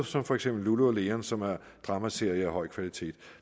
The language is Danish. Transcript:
som for eksempel lulu leon som er en dramaserie af høj kvalitet